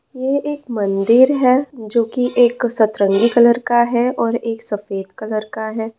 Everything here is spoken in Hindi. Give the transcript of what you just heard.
यह एक मंदिर है जो की एक सतरंगी कलर का है और एक सफेद कलर का है।